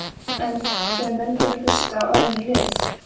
En þegar menn vilja hlusta á önnur lið?